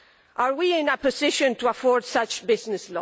Are we in a position to afford such loss of business?